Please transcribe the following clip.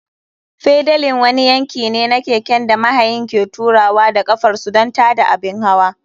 Fedalin wani yanki ne na keken da mahayin ke turawa da ƙafar su don tada abin hawa.